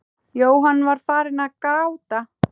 Jóhann var farinn að gráta.